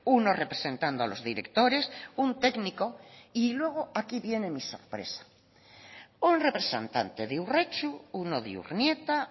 uno representando a los directores un técnico y luego aquí viene mi sorpresa un representante de urretxu uno de urnieta